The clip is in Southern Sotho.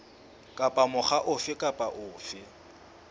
kapa mokga ofe kapa ofe